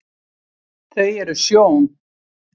þau eru sjón